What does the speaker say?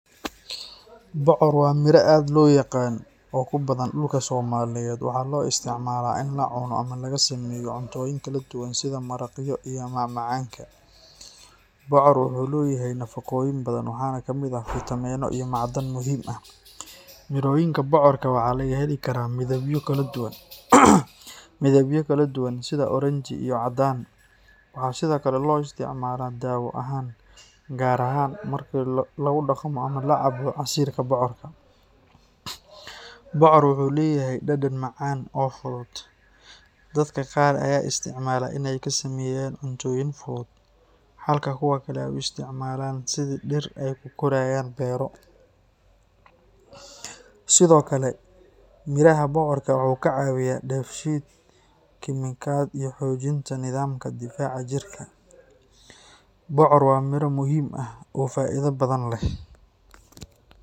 Bocor waa miro aad loo yaqaan oo ku badan dhulka Soomaaliyeed. Waxaa loo isticmaalaa in la cuno ama laga sameeyo cuntooyin kala duwan sida maraqyo iyo macmacaanka. Bocor wuxuu leeyahay nafaqooyin badan, waxaana ka mid ah fiitamiino iyo macdan muhiim ah. Mirooyinka bocorka waxaa laga heli karaa midabyo kala duwan sida oranji iyo caddaan. Waxaa sidoo kale loo isticmaalaa daawo ahaan, gaar ahaan marka lagu dhaqmo ama la cabbo casiirka bocorka. Bocor wuxuu leeyahay dhadhan macaan oo fudud. Dadka qaar ayaa isticmaala in ay ka sameeyaan cuntooyin fudud, halka kuwa kale ay u isticmaalaan sidii dhir ay ku korayaan beero. Sidoo kale, miiraha bocorka wuxuu ka caawiyaa dheef-shiid kiimikaad iyo xoojinta nidaamka difaaca jirka. Bocor waa miro muhiim ah oo faa'iido badan leh.